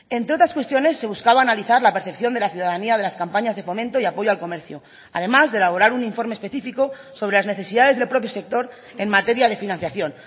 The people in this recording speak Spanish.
entre otras cuestiones se buscaba analizar la percepción de la ciudadanía de las campañas de fomento y apoyo al comercio además de elaborar un informe específico sobre las necesidades del propio sector en materia de financiación